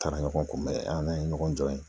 Taara ɲɔgɔn kunbɛn an n'a ye ɲɔgɔn jɔ ye